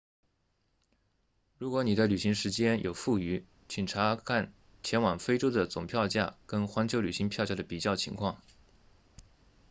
如果你的旅行时间有富余请查看前往非洲的总票价跟环球旅行票价的比较情况